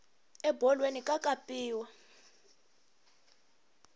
ebolweni ka kapaniwa